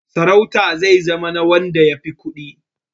Sarauta zai zama na wanda ya fi kuɗi.